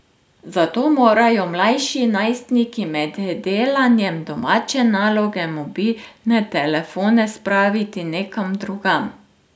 Zato morajo mlajši najstniki med delanjem domače naloge mobilne telefone spraviti nekam drugam.